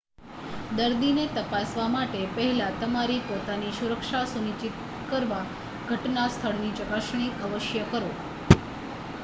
દર્દીને તપાસવા માટે પહેલા તમારી પોતાની સુરક્ષા સુનિશ્ચિત કરવા ઘટના સ્થળની ચકાસણી અવશ્ય કરો